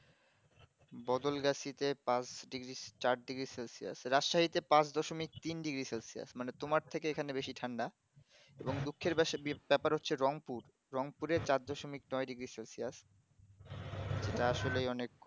বদলগাছী তে পাঁচ degree চার degree সেলসিয়াস রাস্চারী তে পাঁচ দশমিক তিন degree সেলসিয়াস মানে তোমার থেকে এখানে বেসে ঠান্ডা এবং দুঃখের বিষয় তার পর রং পুর রং পুড়ে চার দশমিক নয় degree celcius এটা আসলেই অনেক কম